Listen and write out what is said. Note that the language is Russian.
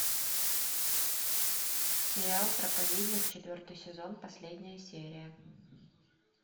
сериал проповедник четвертый сезон последняя серия